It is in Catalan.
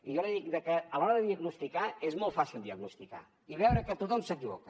i jo li dic que a l’hora de diagnosticar és molt fàcil diagnosticar i veure que tothom s’equivoca